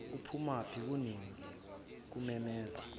uphumaphi kunini ngikumemeza